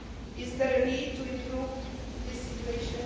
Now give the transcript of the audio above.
Is there a need to improve this situation?